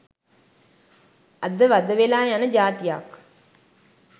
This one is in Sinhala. අද වද වෙලා යන ජාතියක්